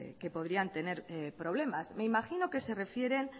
que podrían tener problemas me imagino que se refiere